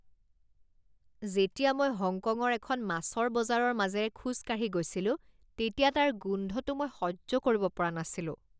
যেতিয়া মই হংকঙৰ এখন মাছৰ বজাৰৰ মাজেৰে খোজ কাঢ়ি গৈছিলোঁ, তেতিয়া তাৰ গোন্ধটো মই সহ্য কৰিব পৰা নাছিলোঁ।